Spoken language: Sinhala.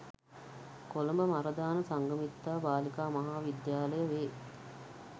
කොළඹ මරදාන සංඝමිත්තා බාලිකා මහා විද්‍යාලය වේ.